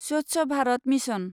Swachh Bharat mission